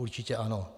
Určitě ano.